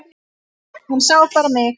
Hann sá bara mig!